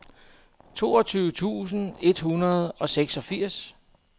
toogtyve tusind et hundrede og seksogfirs